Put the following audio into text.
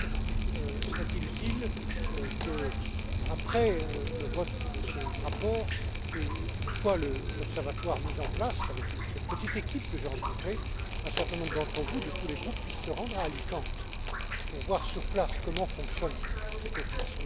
M. Schwab serait il utile, après le vote de ce rapport et une fois l'observatoire mis en place avec cette petite équipe que j'ai rencontrée, qu'un certain nombre d'entre vous, de tous les groupes, puissent se rendre à Alicante, pour voir sur place comment fonctionne cet office.